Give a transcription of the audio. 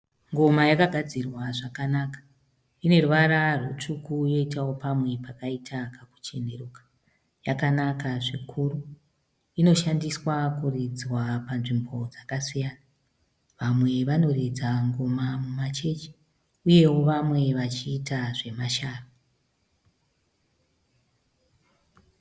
Ngoma yakagadzirwa zvakanaka ineruvara rwutsvuku yoitawo pamwe pakaita kakucheneruka. Yakanaka zvikuru. Inoshandiswa kuridzwa panzvimbo dzakasiyana. Vamwe vanoridza ngoma mumachechi, uyewo vamwe vachiita zvemashavi.